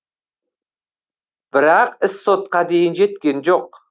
бірақ іс сотқа дейін жеткен жоқ